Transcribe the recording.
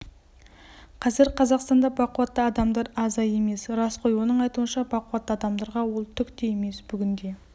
қазір қазақстанда бақуатты адамдар аза емес рас қой оның айтуынша бақуатты адамдарға ол түкте емес бүгінде